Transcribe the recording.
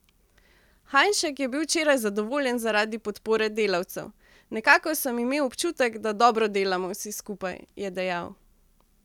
Hajnšek je bil včeraj zadovoljen zaradi podpore delavcev: 'Nekako sem imel občutek, da dobro delamo vsi skupaj,' je dejal.